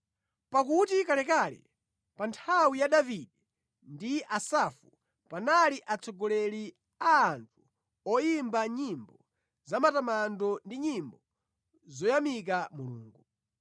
Pakuti kalekale, pa nthawi ya Davide ndi Asafu, panali atsogoleri a anthu oyimba nyimbo za matamando ndi nyimbo zoyamika Mulungu.